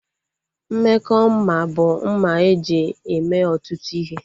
Mmekọ mma bụ mma eji eme ọtụtụ ihe